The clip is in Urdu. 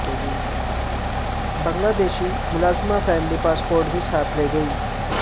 بنگلہ دیشی ملازمہ فیملی پاسپورٹ بھی ساتھ لے گئی